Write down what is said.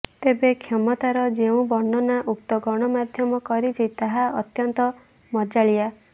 ତେବେ କ୍ଷମତାର ଯେଉଁ ବର୍ଣ୍ଣନା ଉକ୍ତ ଗଣମାଧ୍ୟମ କରିଛି ତାହା ଅତ୍ୟନ୍ତ ମଜାଳିଆ